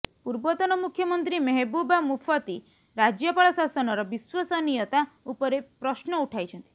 ପୂର୍ବତନ ମୁଖ୍ୟମନ୍ତ୍ରୀ ମେହେବୁବା ମୁଫତି ରାଜ୍ୟପାଳ ଶାସନର ବିଶ୍ବସନୀୟତା ଉପରେ ପ୍ରଶ୍ନ ଉଠାଇଛନ୍ତି